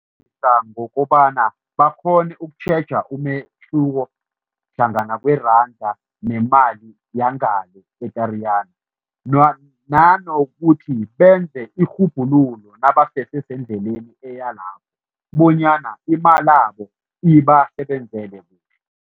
Isiza ngokobana bakghone ukutjheja umehluko hlangana kweranda nemali yangale e-Tariyana nanokuthi benze irhubhululo nabasese sendleleni eya lapho bonyana imalabo ibasebenzele kuhle.